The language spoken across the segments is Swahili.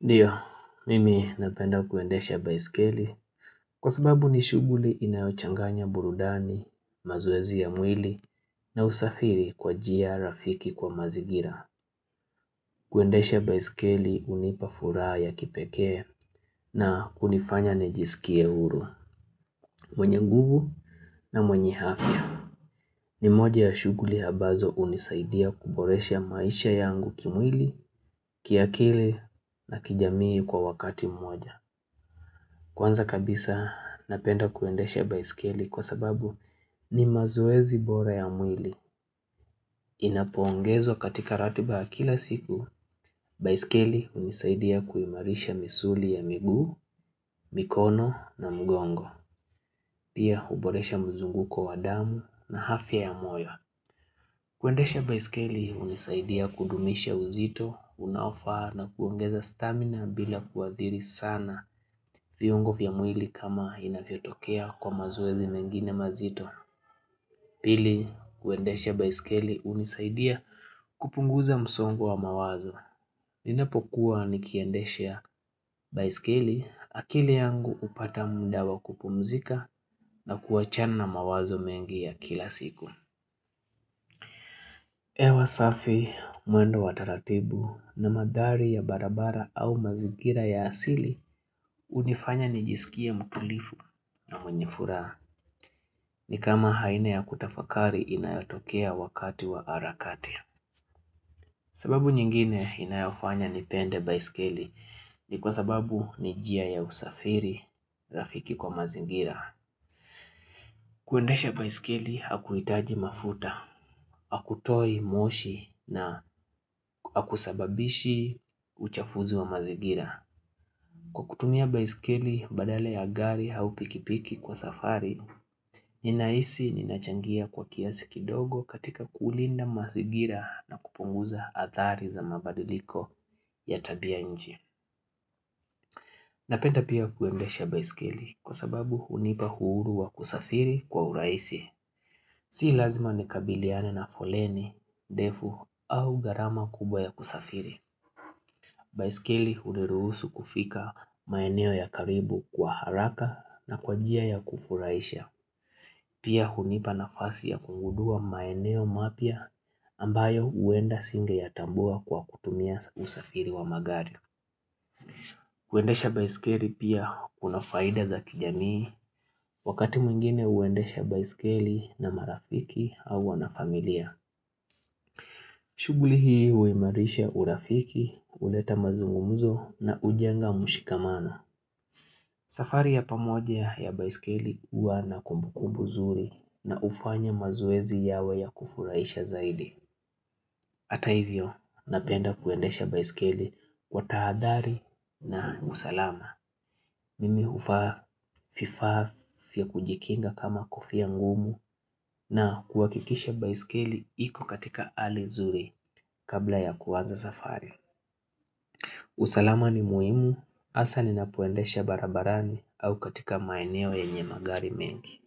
Ndiyo, mimi napenda kuendesha baiskeli kwa sababu ni shughuli inayochanganya burudani, mazowezi ya mwili na usafiri kwa njia rafiki kwa mazingira. Kuendesha baiskeli hunipa furaha ya kipekee na kunifanya nijisikie huru, mwenye nguvu na mwenye afya. Ni moja ya shughuli ambazo hunisaidia kuboresha maisha yangu kimwili, kiakili na kijamii kwa wakati mmoja. Kwanza kabisa napenda kuendesha baiskeli kwa sababu ni mazoezi bora ya mwili. Inapoongezwa katika ratiba ya kila siku, baiskeli hunisaidia kuimarisha misuli ya miguu, mikono na mgongo. Pia huboresha mzunguko wa damu na afya ya moyo. Kuendesha baiskeli hunisaidia kudumisha uzito, unaofaa na kuongeza stamina bila kuathiri sana viungo vya mwili kama inavyotokea kwa mazowezi mengine mazito. Pili, kuendesha baiskeli hunisaidia kupunguza msongo wa mawazo. Ninapokuwa nikiendesha baiskeli akili yangu hupata muda wa kupumzika na kuachana na mawazo mengi ya kila siku. Hewa safi mwendo wa taratibu na mandhari ya barabara au mazingira ya asili hunifanya nijisikie mtulivu na mwenye furaha ni kama aina ya kutafakari inayatokea wakati wa harakati. Sababu nyingine inayofanya nipende baiskeli ni kwa sababu ni njia ya usafiri rafiki kwa mazingira. Kuendesha baiskeli hakuhitaji mafuta, hakutoi moshi na hakusababishi uchafuzi wa mazingira. Kwa kutumia baiskeli badala ya gari au pikipiki kwa safari, ninahisi ninachangia kwa kiasi kidogo katika kulinda mazingira na kupunguza athari za mabadiliko ya tabia nchi. Napenda pia kuendesha baiskeli kwa sababu hunipa uhuru wa kusafiri kwa urahisi. Si lazima nikabiliane na foleni ndefu au gharama kubwa ya kusafiri. Baiskeli huniruhusu kufika maeneo ya karibu kwa haraka na kwa njia ya kufurahisha. Pia hunipa nafasi ya kugundua maeneo mapya ambayo huenda singeyatambua kwa kutumia usafiri wa magari. Kuendesha baiskeli pia kuna faida za kijamii wakati mwingine huendesha baiskeli na marafiki au wanafamilia. Shughuli hii huimarisha urafiki, huleta mazungumuzo na hujenga mshikamano. Safari ya pamoja ya baiskeli huwa na kumbukumbu nzuri na hufanya mazoezi yawe ya kufurahisha zaidi. Hata hivyo napenda kuendesha baiskeli kwa tahadhari na usalama. Mimi huvaa vifaa vya kujikinga kama kofia ngumu na kuhakikisha baiskeli iko katika hali nzuri kabla ya kuanza safari. Usalama ni muhimu hasa ninapoendesha barabarani au katika maeneo yenye magari mengi.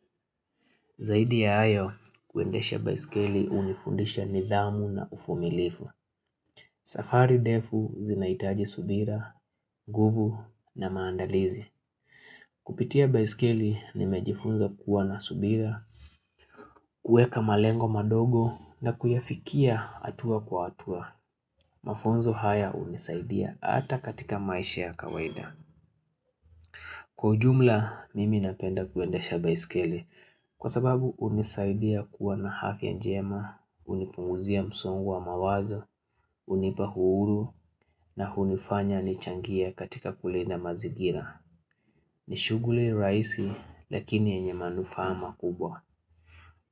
Zaidi ya hayo kuendesha baiskeli hunifundisha nidhamu na uvumilivu. Safari ndefu zinahitaji subira nguvu na maandalizi. Kupitia baiskeli ni mejifunza kuwa na subira kueka malengo madogo na kuyafikia hatua kwa hatua. Mafunzo haya hunisaidia hata katika maisha ya kawaida. Kwa ujumla mimi napenda kuendesha baiskeli. Kwa sababu hunisaidia kuwa na afya njema hunipunguzia msongu wa mawazo hunipa uhuru na hunifanya nichangie katika kulinda mazingira. Ni shughuli rahisi lakini yenye manufaa makubwa.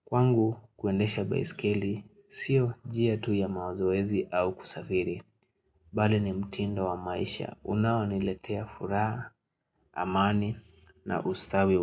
Kwangu kuendesha baiskeli sio njia tu ya mazoezi au kusafiri. Bali ni mtindo wa maisha unaoniletea furaha amani na ustawi wa.